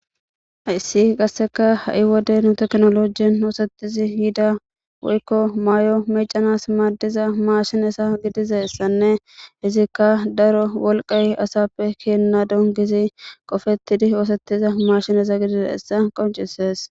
hayssi qasseka ha7i wode nu teknolojien hoosettizi yida woykko maayo meecanas maaddiza maashinesa gidiza essanne izikka daro wolqay asappe keenna don gizi qofettidi oosettiza maashinesa gidize essa qoncisees